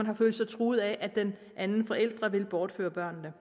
har følt sig truet af at den anden forælder ville bortføre børnene